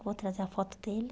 Vou trazer a foto dele.